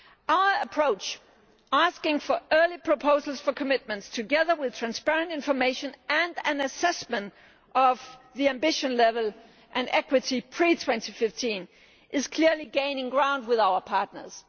Our approach asking for early proposals for commitments, together with transparent information and an assessment of the ambition level and equity pre 2015 is clearly gaining ground with our partners.